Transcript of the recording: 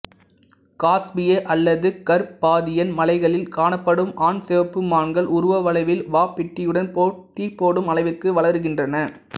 காஸ்பிய அல்லது கர்பாதியன் மலைகளில் காணப்படும் ஆண் சிவப்பு மான்கள் உருவ அளவில் வாபிட்டியுடன் போட்டி போடும் அளவிற்கு வளருகின்றன